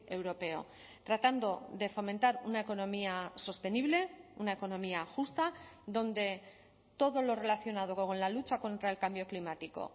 europeo tratando de fomentar una economía sostenible una economía justa donde todo lo relacionado con la lucha contra el cambio climático